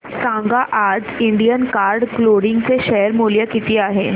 सांगा आज Indian card clothing चे शेअर मूल्य किती आहे